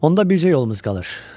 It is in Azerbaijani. Onda bircə yolumuz qalır.